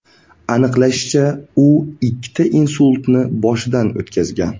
Aniqlanishicha, u ikkita insultni boshidan o‘tkazgan.